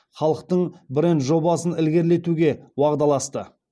халықтықтың бренд жобасын ілгерілетуге уағдаласты